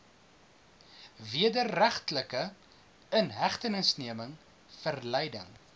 wederregtelike inhegtenisneming verleiding